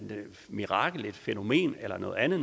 mirakel et fænomen eller noget andet